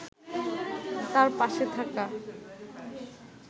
তাঁর পাশে থাকা